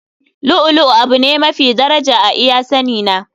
Lu'u lu'u abu ne mafi daraja a iya sani na.